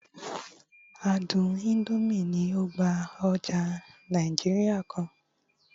àádùn Indomie ni o gba oja Naijiria kan